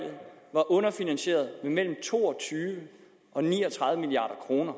var underfinansieret med mellem to og tyve og ni og tredive milliard kroner